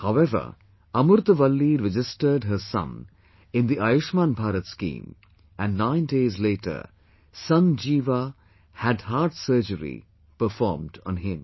However, Amurtha Valli registered her son in the 'Ayushman Bharat' scheme, and nine days later son Jeeva had heart surgery performed on him